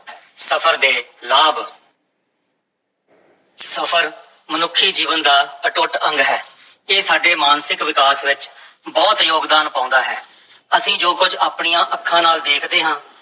ਸਫ਼ਰ ਦੇ ਲਾਭ ਸਫ਼ਰ ਮਨੁੱਖੀ ਜੀਵਨ ਦਾ ਅਟੁੱਟ ਅੰਗ ਹੈ, ਇਹ ਸਾਡੇ ਮਾਨਸਿਕ ਵਿਕਾਸ ਵਿੱਚ ਬਹੁਤ ਯੋਗਦਾਨ ਪਾਉਂਦਾ ਹੈ, ਅਸੀਂ ਜੋ ਕੁਝ ਆਪਣੀਆਂ ਅੱਖਾਂ ਨਾਲ ਦੇਖਦੇ ਹਾਂ,